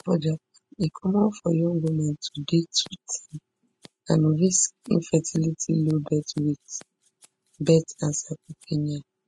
for japan e common for young women to dey too thin and risk infertility low birth weight births and sarcopenia